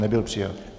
Nebyl přijat.